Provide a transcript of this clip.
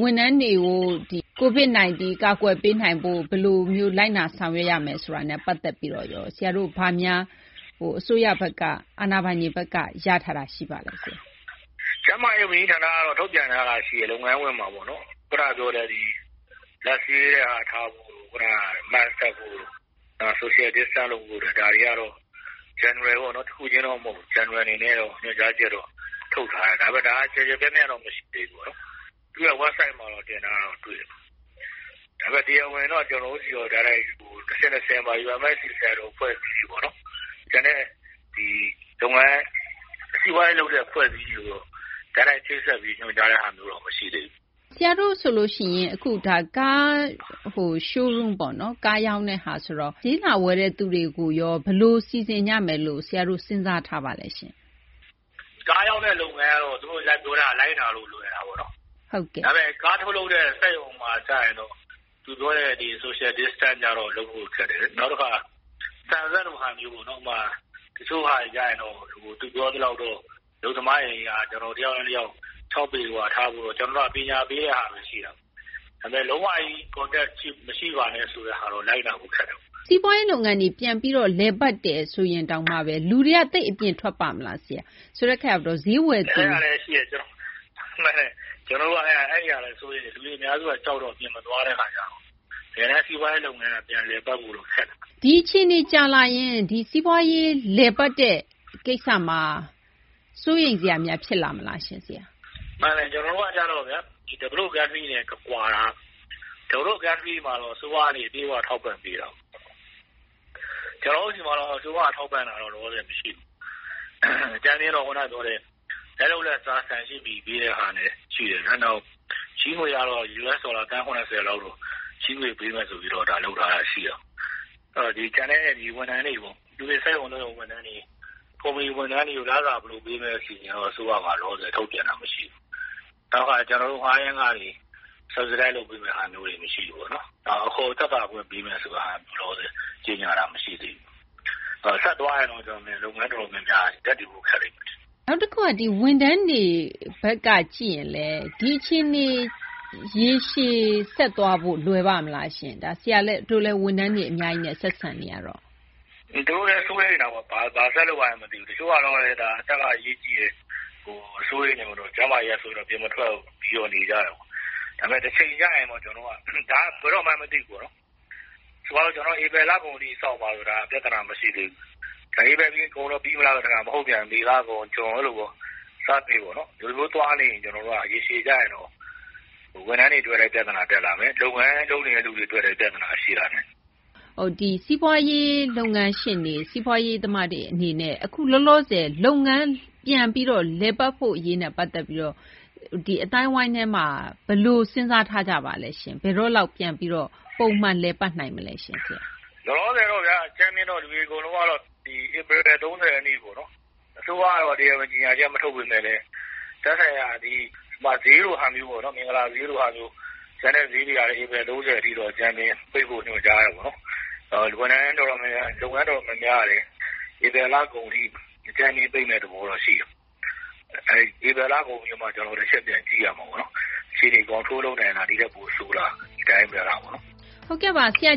ဝန်ထမ်းတွေကို COVID 19 ကာကွယ်ပေးနိုင်ဖို့ ဘယ်လိုမျိုး လိုက်နာ ဆောင်ရွက်ရမယ် ဆိုတာနဲ့ ပတ်သက်ပြီးတော့ ဆရာတို့ ဘာများ အစိုးရဘက်က အာဏာပိုင်တွေဘက်က ရထားတာ ရှိပါလဲ။ ကျန်းမာရေး ဝန်ကြီးဌာနက တော့ ထုတ်ပြန်ထားတာ ရှိတယ်။ လုပ်ငန်းခွင်မှာပေါ့နော် ခုနပြောတဲ့ လက်ဆေးတဲ့ဟာ ထားဖို့တို့ ခုနက Mask တပ်ဖို့တို့ Social Distance လုပ်ဖို့တို့ ဒါတွေ ကတော့ General ပေါ့နော် တခုချင်းတော့ မဟုတ်ဘူး General အနေနဲ့ ညွှန်ကြားချက်တော့ ထုတ်ထားတယ်။ ဒါကလည်း ကျယ်ကျယ်ပြန့်ပြန့်တော့ မရှိသေးဘူး။ သူ့ရဲ့ ဝက်ဘ်ဆိုက်မှာ တင်ထားတာတော့ တွေ့တယ်။ ဒါပေမယ့် တရားဝင် တော့ ကျနော်တို့ဆီကို တိုက်ရိုက်ပေါ့ UMFCCI လို အဖွဲ့ပေါ့ ကျန်တဲ့ စီးပွားရေး လုပ်တဲ့ အဖွဲ့တွေ ဆီတော့ တိုက်ရိုက် ချိတ်ဆက်ပြီး ညွှန်ကြားတဲ့ဟာတော့ မရှိသေးဘူး။ ဆရာတို့ ဆိုရင် Car Showroom ဆိုတော့ ကားရောင်းတာ ဆိုတော့ ဈေးလာဝယ်တဲ့သူတွေကိုရော ဘယ်လို စီစဉ်ကြမယ်လို့ ဆရာတို့ စဉ်းစားထားပါလဲ။ ကားရောင်းတဲ့ လုပ်ငန်းကတော့ သူတို့ ပြောတာကို လိုက်နာရတာ လွယ်တာပေါ့။ ဒါပေမယ့် ကားထုတ်လုပ်တဲ့ စက်ရုံမှာ ကျရင်တော့ သူပြောတဲ့ Social Distance ကျတော့ လုပ်ဖို့ ခက်တယ်။ နောက်တခါ ဆန်စက်လို ဟာမျိုးပေါ့နော်။ တချို့ဟာတွေက သူပြောသလောက်တော့ အလုပ်သမားတွေက တယောက်နဲ့ တယောက် ၆ ပေကွာထားဖို့တော့ ကျနော်တို့က ပညာပေးတဲ့ဟာဘဲ ရှိတာပေါ့။ ဒါပေမယ့် လုံးဝကြီး ထိတွေ့မှု မရှိပါနဲ့ ဆိုတဲ့ဟာတော့ လိုက်နာဖို့ ခက်တယ်။ စီးပွားရေး လုပ်ငန်းတွေ ပြန်ပြီးတော့ လည်ပတ်တယ် ဆိုရင်တောင်မှဘဲ လူတွေက သိပ်အပြင်ထွက်ပါ့မလား ဆရာ။ ဆိုတော့ ဈေးဝယ်သူရော... အဲဒါလည်း ရှိတယ်။ မှန်တယ်။ ကျနော်တို့က အဲဒါလည်း စိုးရိမ်တယ်။ လူတွေ အများစုက ကြောက်တော့ အပြင်မသွားကြဘူး။ တကယ်တန်း စီးပွားရေး လုပ်ငန်းက ပြန်လည်ပတ်ဖို့တော့ ခက်တယ်။ ဒီအခြေအနေ ကြာလာရင် စီးပွားရေး လည်ပတ်တဲ့ ကိစ္စမှာ စိုးရိမ်စရာများ ဖြစ်လာမလားရှင့် ဆရာ။ မှန်တယ် ကျနော်တို့က ကျတော့ဗျာ ဖွံ့ဖြိုးပြီး နိုင်ငံတွေနဲ့ ကွာတာက ဖွံ့ဖြိုးပြီး နိုင်ငံတွေကတော့ အစိုးရ ကနေ အပြည့်အ၀ ထောက်ပံ့ပေးတာပေါ့။ ကျနော်တို့ဆီမှာတော့ အစိုးရက ထောက်ပံ့တာ လောလောဆယ် မရှိဘူး။ အကြမ်းဖျဉ်းတော့ ခုန ပြောတဲ့ လက်လုပ်လက်စား ဆန် ၈ ပြည် ပေးတဲ့ဟာ ရှိတယ်ဗျာ။ နောက် ချေးငွေကတော့ အမေရိကန် ဒေါ်လာ သန်း ၇၀ လောက် ချေးငွေ ပေးမယ်ဆိုပြီး ဒါ လုပ်ထားတာ ရှိတယ်။ ကျန်တဲ့ ဝန်ထမ်းတွေပေါ့ ၊ စက်ရုံ အလုပ်ရုံ ဝန်ထမ်းတွေ ၊ ကုမ္ပဏီ ဝန်ထမ်းတွေကို လစာဘယ်လို ပေးမလဲ ဆိုတဲ့ အစီအစဉ်တော့ အစိုးရမှာ လောလောဆယ် ထုတ်ပြန်တာ မရှိဘူး။ နောက် တခါ ကျနော်တို့ ငှားယမ်းခတွေ တစိတ်တပိုင်း ကျခံပေးမယ့်ဟာမျိုးတွေ မရှိဘူးပေါ့နော်။ နောက် အခွန်သက်သာခွင့် ပေးမယ့်ဟာမျိုး လောလောဆယ် ကြေညာတာ မရှိသေးဘူး။ ဆက်သွားရင်တော့ ကျနော်ထင်တယ် လုပ်ငန်း တော်တော်များများ ရပ်တည်ဖို့ ခက်လိမ့်မယ်လို့ ထင်တယ်။ နောက်တခုက ဝန်ထမ်းတွေ ဘက်က ကြည့်ရင်လည်း ဒီအခြေအနေ ရေရှည် ဆက်သွားဖို့ လွယ်ပါ့မလားရှင့်။ ဆရာတို့လည်း ဝန်ထမ်းတွေ အများကြီးနဲ့ ဆက်ဆံနေရတော့။ သူတို့လည်း စိုးရိမ်တာပေါ့။ ဘာဆက်လုပ်ရမှန်း မသိဘူး။ တချို့ကလည်း ဒါ အသက်က အရေးကြီးတယ်။ စိုးရိမ်တယ်ပေါ့နော်။ ကျန်းမာရေးကြောင့် အပြင်မထွက်ဘူး ဆိုပြီး နေကြတယ်ပေါ့။ ဒါပေမယ့် တချိန်ကျရင်ပေါ့ ဒါက ဘယ်တော့မှန်း မသိဘူးပေါ့နော်။ ဆိုပါတော့ ကျနော်တို့ ဧပြီလကုန်ထိ စောင့်ပါဆိုရင် ဒါက ပြသနာ မရှိသေးဘူး။ ဧပြီကုန်ရင် ပြီးမလားဆိုတော့ မဟုတ်ပြန်ဘူး မေ လကုန် ဇွန် အဲလိုပေါ့ တနေ့နေ့ပေါ့နော် ဒီလိုမျိုး သွားနေရင် ကျနော်တို့ ရေရှည်ကျရင်တော့ ဝန်ထမ်းတွေ အတွက်လည်း ပြသနာ တက်လာမယ် လုပ်ငန်း လုပ်နေသူတွေ အတွက်လည်း ပြသနာ ရှိလာနိုင်တယ်။ စီးပွားရေး လုပ်ငန်းရှင်တွေ၊ စီးပွားရေး သမားတွေ အနေနဲ့ အခုလောလောဆယ် လုပ်ငန်း ပြန်ပြီးတော့ လည်ပတ်ဖို့ အရေးနဲ့ ပတ်သက်ပြီးတော့ ဒီ အသိုင်းအဝိုင်းထဲမှာ ဘယ်လို စဉ်းစား ထားကြပါလဲ။ ဘယ်တော့လောက် ပြန်ပြီး ပုံမှန် လည်ပတ်နိုင်မလဲ။ လောလောဆယ်တော့ဗျာ အကြမ်းဖျဉ်းတော့ လူတွေ အကုန်လုံးက ဧပြီ ၃၀ ရက်နေ့ ပေါ့နော် အစိုးရကတော့ တရားဝင် ကြေညာချက် မထုတ်ပေမယ့်လည်း သက်ဆိုင်ရာ ဒီ ဈေးလိုဟာမျိုးပေါ့ ဥပမာ မင်္ဂလာဈေးလိုဟာမျိုး ကျန်တဲ့ ဈေးတွေကလည်း ဧပြီ ၃၀ ထိတော့ အကြမ်းဖျဉ်း ပိတ်ဖို့ ညွှန်ကြားတယ်ပေါ့။ လုပ်ငန်း တော်တော်များများကလည်း ဧပြီ လကုန်ထိ အကြမ်းဖျဉ်း ပိတ်မယ့် သဘောတော့ ရှိတယ်။ ဧပြီ လကုန်ပြီးတော့မှ ကျနော်တို့ တချက်ပြန် ကြည့်ရမှာပေါ့နော်။ အခြေအနေ ထိန်းချုပ်နိုင်လား ဒီထက် ပိုဆိုးလား ဒီတိုင်းဘဲလားပေါ့နော်။ ဟုတ်ကဲ့ပါ။ ဆရာ